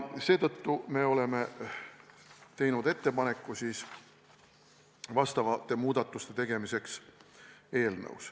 Seetõttu me oleme teinud ettepaneku teha eelnõusse vastavad muudatused.